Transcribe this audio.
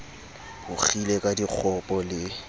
bo kgile ka dikgopo le